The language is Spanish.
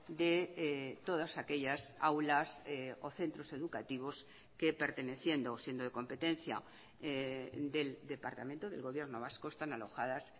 de todas aquellas aulas o centros educativos que perteneciendo o siendo de competencia del departamento del gobierno vasco están alojadas